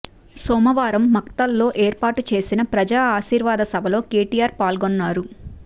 సోమవారం మక్తల్లో ఏర్పాటు చేసిన ప్రజా ఆశీర్వాద సభలో కెటిఆర్ పాల్గొన్నారు